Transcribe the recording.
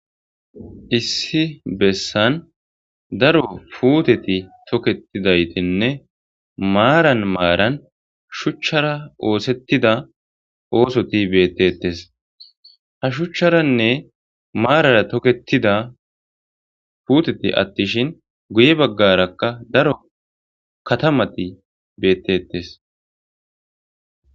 Issi bessan daro puuteti toketidanne maaran maaran shuchcara oosetida oosoti beettetes. Ha shuchcharanne maarara tokettida puuteti attin guye baggarakka daro katamati beettetes.